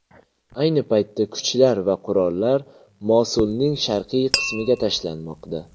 Ayni paytda kuchlar va qurollar Mosulning sharqiy qismiga tashlanmoqda.